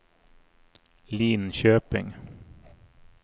Linköping